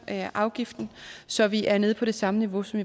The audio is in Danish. afgiften så vi er nede på det samme niveau som